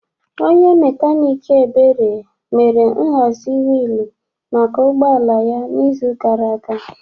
Onye mekaniiki Ebere mere nhazi wiilu maka ụgbọ ala ya n'izu gara aga.